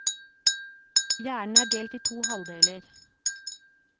Hjernen er delt i to halvdeler.